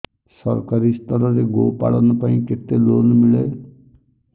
ସରକାରୀ ସ୍ତରରେ ଗୋ ପାଳନ ପାଇଁ କେତେ ଲୋନ୍ ମିଳେ